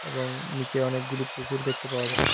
এবং নীচে অনেকগুলি পুকুর দেখতে পাওয়া যাচ্ছে।